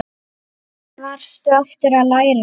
Hvað varstu aftur að læra?